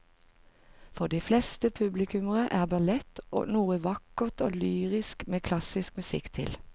For de fleste publikummere er ballett noe vakkert og lyrisk med klassisk musikk til.